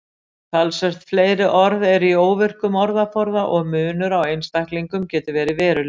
Talsvert fleiri orð eru í óvirkum orðaforða og munur á einstaklingum getur verið verulegur.